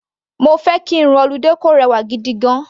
Mo fẹ́ kí irun holiday kò rẹwà gigigan.